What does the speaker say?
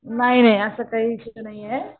नाही नाही असं काहीच नाहीये.